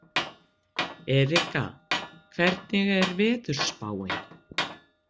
Erika, hvernig er veðurspáin?